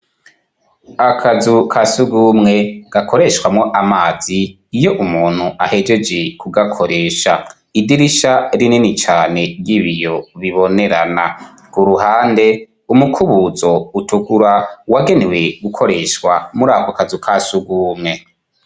akazu kasugumwe gakoreshwamo amazi iyo umuntu ahejege kugakoresha idirisha rinini cyane ry'ibiyo ribonerana ku ruhande umukubuzo utukura wagenewe gukoreshwa muri ako kazu kasugumwe